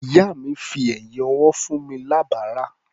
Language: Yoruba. Ìyá mi fi ẹ̀yín ọwọ́ fún mi lábàrá.